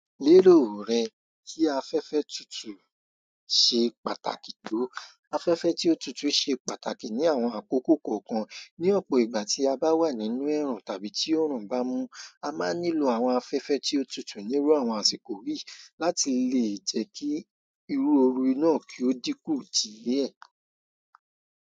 Lílòò rẹ tí afẹ́fẹ́ tutù ṣe pàtàkì tó. Afẹ́fẹ́ tí ó tutù ṣe pàtàkì ní àwọn àkókò kọ̀ọ̀kan. Ní ọ̀pọ̀ ìgbà tí a bá wà nínú ẹ̀rùn tàbí tí òrùn bá mú, a máa nílò àwọn afẹ́fẹ́ tí ó tutù nínú àwọn àsìkò yíì láti lè jẹ́ kí irú oru náà kí ó dínkù díẹ̀.